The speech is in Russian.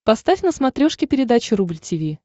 поставь на смотрешке передачу рубль ти ви